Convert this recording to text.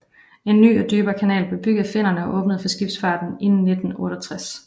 En ny og dybere kanal blev bygget af finnerne og åbnet for skibsfarten i 1968